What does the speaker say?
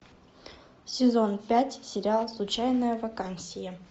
сезон пять сериал случайная вакансия